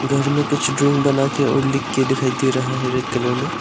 घर में कुछ ड्राविंग बना के और लिख के दिखाई दे रहा है रेड कलर में।